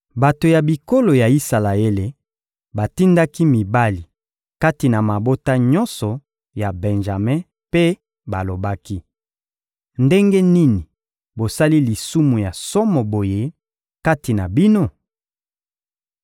Bato ya bikolo ya Isalaele batindaki mibali kati na mabota nyonso ya Benjame mpe balobaki: «Ndenge nini bosali lisumu ya somo boye kati na bino?